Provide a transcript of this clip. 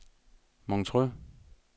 Montreux